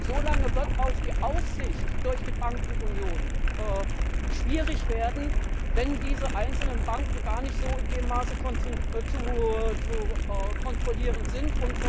Und so lange wird auch die Aufsicht durch die Bankenunion schwierig werden, wenn diese einzelnen Banken so gar nicht in dem Maße zu kontrollieren sind.